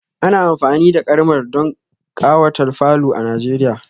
Ana amfani da karmal don kawata falo a nigeria